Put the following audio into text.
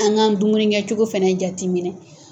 An k'an dumuni kɛ cogo fana jateminɛ.